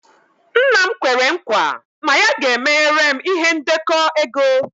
Nna'm kwere nkwa na ya ga-emeghere m ihe ndekọ ego.